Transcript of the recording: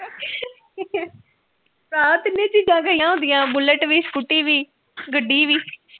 ਭਰਾ ਤਿੰਨੇ ਚੀਜਾ ਗਈਆਂ ਹੁੰਦੀਆ ਬੁਲਿਟ ਵੀ ਸਕੂਟਰੀ ਵੀ ਗੱਡੀ